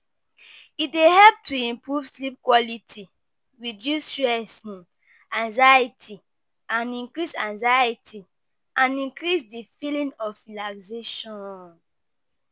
E dey help to improve sleep quality, reduce stressing, anxiety and increase anxiety and increase di feeling of relaxation.